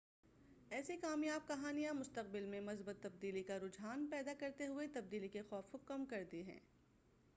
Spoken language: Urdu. ایسی کامیاب کہانیاں مستقبل میں مثبت تبدیلی کا رجحان پیدا کرتے ہوئے تبدیلی کے خوف کو کم کرتی ہیں